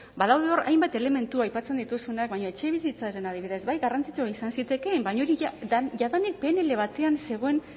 badaude hor hainbat elementu aipatzen dituzunak baina etxebizitzan adibidez bai garrantzitsua izan zitekeen baina hori jadanik pnl batean zegoen